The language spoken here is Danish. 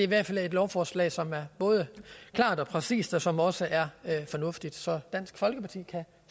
hvert fald et lovforslag som er både klart og præcist og som også er fornuftigt så dansk folkeparti kan